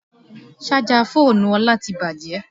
Sájà fóònù Ọlá ti bàjẹ́